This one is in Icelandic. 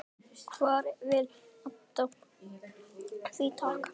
Hver vill redda því takk?